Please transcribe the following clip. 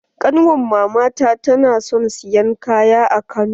Ƙanwar mama ta na son siyan kaya a Kano.